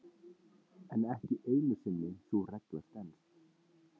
En ekki einu sinni sú regla stenst.